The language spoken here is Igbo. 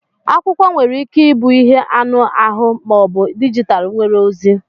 Akwụkwọ nwere ike ịbụ ihe anụ ahụ ma ọ bụ dijitalụ nwere ozi